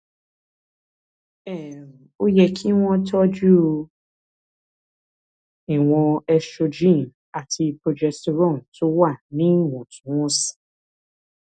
um ó yẹ kí wọn tọjú ìwọn estrogen àti progesterone tó wà níwọntúnwọnsì